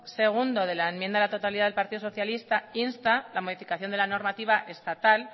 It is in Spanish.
segundo de la enmienda de totalidad del partido socialista insta la modificación de la normativa estatal